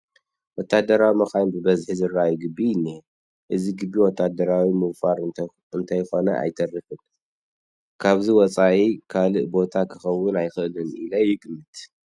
ወታደራዊ መኻይን ብበዝሒ ዝርአያሉ ግቢ እኒሀ፡፡ እዚ ግቢ ወታደራዊ ምውፋር እንተይኮነ ኣይተርፍን፡፡ ካብዚ ወፃኢ ካልእ ቦታ ክኸውን ኣይኽእልን ኢለ ይግምት፡፡